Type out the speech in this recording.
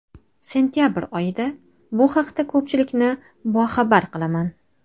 Sentabr oyida bu haqda ko‘pchilikni boxabar qilaman.